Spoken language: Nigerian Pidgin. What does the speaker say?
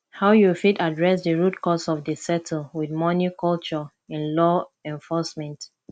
how you fit adress di root cause of di settle with money culture in law enforcement